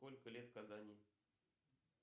сколько лет казани